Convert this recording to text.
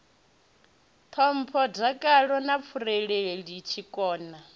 ṱhompho dakalo na vhurereli tshikona